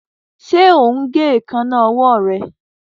Ṣe o ń gé Èékánná ọwọ́ rẹ.